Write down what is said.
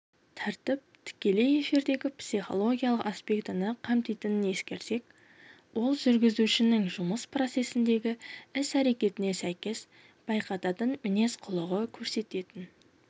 тәртіп тікелей эфирдегі психологиялық аспектіні қамтитынын ескерсек ол жүргізушінің жұмыс процесіндегі іс-әрекетіне сәйкес байқататын мінез-құлығы көрсететін